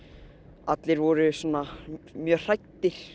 allir voru svona mjög hræddir